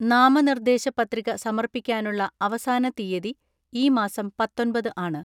നാമനിർദേശ പത്രിക സമർപ്പിക്കാനുള്ള അവസാന തീയതി ഈ മാസം പത്തൊൻപത് ആണ്.